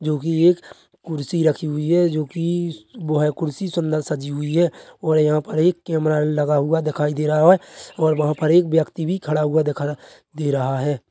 जो कि एक कुर्सी रखी हुई है जो कि वह कुर्सी सुंदर सजी हुई है और यहाँ पर एक कॅमेरा लगा हुआ दिखाई दे रहा है और वहाँ पर एक व्यक्ती भी खड़ा हुआ दिख रहा दे रहा है।